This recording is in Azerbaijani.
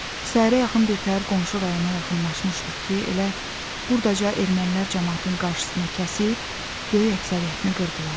Səhərə yaxın birtəhər qonşu rayona yaxınlaşmışdıq ki, elə burdaca ermənilər camaatın qarşısını kəsib, böyük əksəriyyətini qırdılar.